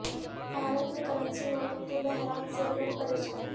بھارت میں کرنسی نوٹوں کے بحران سے لوگ پریشان